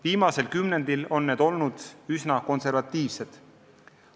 Viimasel kümnendil on need olnud üsna konservatiivsed.